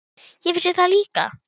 Ég vissi það líka.